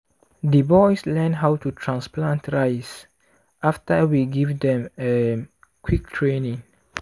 di boys learn how to transplant rice after we give them um quick training.